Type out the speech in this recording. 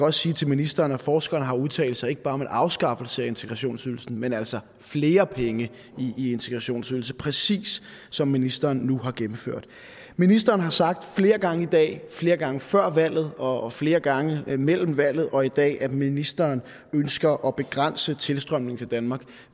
også sige til ministeren at forskerne har udtalt sig ikke bare om en afskaffelse af integrationsydelsen men altså flere penge i integrationsydelse præcis som ministeren nu har gennemført ministeren har sagt flere gange i dag flere gange før valget og flere gange mellem valget og i dag at ministeren ønsker at begrænse tilstrømningen til danmark